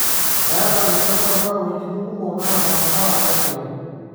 Eeta ina mtandao wejitin kumok naata mbaa naaigero